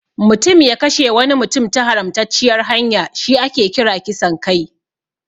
Mutum ya kashe wani mutum ta haramtacciyar hanya shi ake kira kisan kai.